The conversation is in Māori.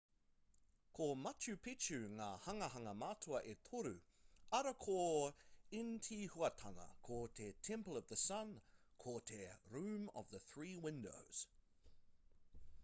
ko machu picchu ngā hanganga matua e toru arā ko intihuatana ko te temple of the sun ko te room of the three windows